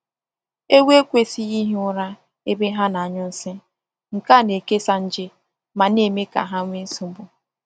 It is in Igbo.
Ewu ekwesịghị ihi ụra ebe ha na-anyụ nsị — nke a na-ekesa nje ma n'eme ka ha nwee nsogbu.